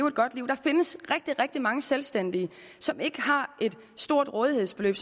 et godt liv der findes rigtig mange selvstændige som ikke har et stort rådighedsbeløb